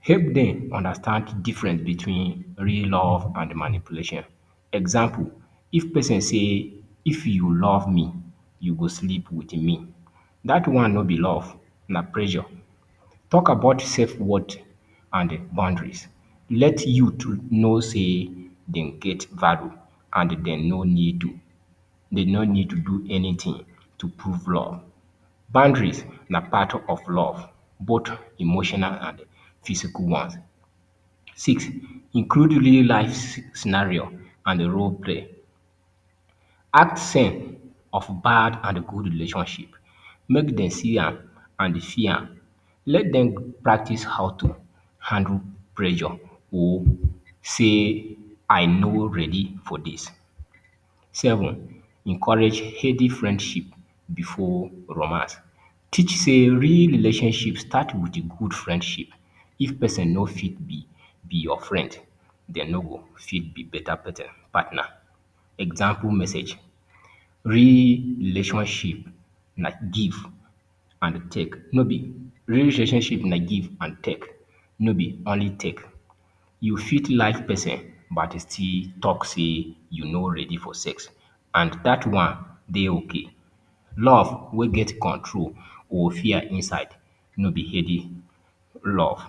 help dem understand difference between real love and manipulation example, if person say if you love me you will sleep with me that one no be love na pressure talk about safe word and boundaries. let youth know say they get valueand dey no need to do anything to prove love. Boundaries are part of love, both emotional and physical ones. six, Include real life scenario and the role play. Act scene of bad and good relationship. Make them see am and feel am. Let them practice how to handle pressure or say, I no ready for this.seven, encourage healthy friendship before romance teach say real relationship start with good friendship if person no fit be your friend dey no be better partner example message, real relationship na give an take real relationship na give an take no be only take you fit like person and say you no ready for sex And that one, dey okay. Love wey get control and fear inside. No be healthy Love.